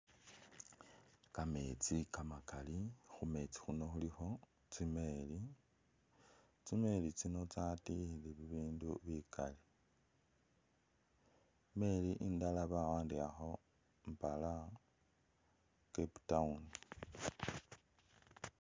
Kameetsi kamakali, khumeetsi khuno khulikho tsimeeli ,tsimeeli tsino tsatikhile bibindu bikali, imeeli indala bawandikhakho mpala Cape Town